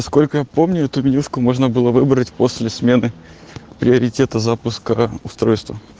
сколько помню эту менюшку можно было выбрать после смены приоритета запуска устройства